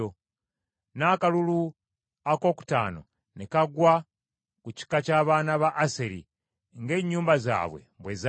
N’akalulu akookutaano ne kagwa ku kika ky’abaana ba Aseri ng’ennyumba zaabwe bwe zaali.